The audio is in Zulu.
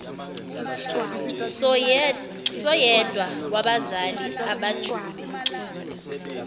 soyedwa wabazali abajube